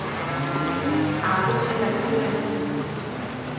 a bolelwa ke wena kehwile